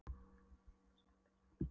Hann hélt hægri hendi á skammbyssuhylkinu.